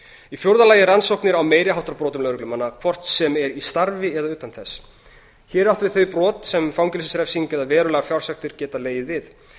í fjórða lagi rannsóknir á meiri háttar brotum lögreglumanna hvort sem er í starfi eða utan þess hér er átt við þau brot sem fangelsisrefsing eða verulegar fjársektir geta legið við